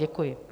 Děkuji.